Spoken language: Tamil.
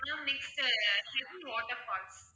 ma'am next ah hippie water falls